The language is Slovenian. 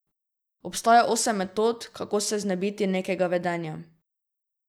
Obstaja osem metod, kako se znebiti nekega vedenja.